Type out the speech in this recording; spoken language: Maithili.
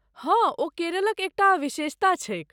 हँ, ओ केरलक एकटा विशेषता छैक।